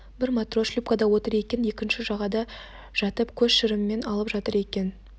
бір матрос шлюпкада отыр екен де екіншісі жағада жатып көз шырымын алып жатыр екен